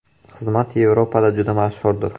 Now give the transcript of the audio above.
Xizmat Yevropada juda mashhurdir.